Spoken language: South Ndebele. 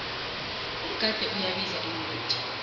umgade uyabiza emakethe